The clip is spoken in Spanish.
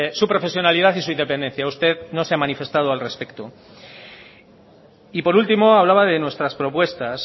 su profesionalidad y su independencia usted no se ha manifestado al respecto y por último hablaba de nuestras propuestas